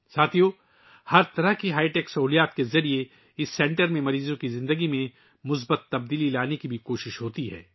دوستو، ہر قسم کی ہائی ٹیک سہولیات کے ذریعے یہ سنٹر مریضوں کی زندگیوں میں مثبت تبدیلی لانے کی کوشش بھی کرتا ہے